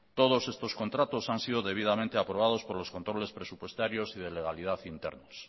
todos estos contratos han sido debidamente aprobados por los controles presupuestarios y de legalidad internos